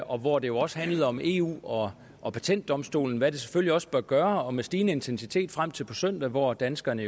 og hvor det jo også handlede om eu og og patentdomstolen hvad det selvfølgelig også bør gøre og med stigende intensitet gør frem til på søndag hvor danskerne